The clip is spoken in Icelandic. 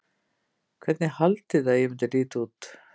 Hvernig haldiði að ég myndi líta út?